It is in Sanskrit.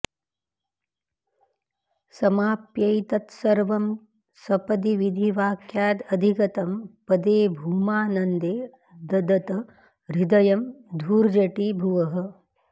समाप्यैतत्सर्वं सपदि विधिवाक्यादधिगतं पदे भूमानन्दे ददत हृदयं धूर्जटिभुवः